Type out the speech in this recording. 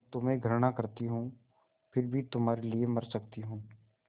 मैं तुम्हें घृणा करती हूँ फिर भी तुम्हारे लिए मर सकती हूँ